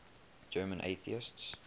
german atheists